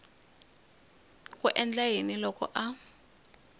ku endla yini loko a